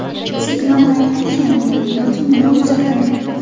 Signallarni kim yoki nima uzatadi?